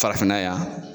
Farafinna yan